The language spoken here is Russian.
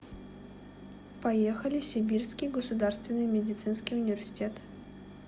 поехали сибирский государственный медицинский университет